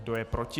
Kdo je proti?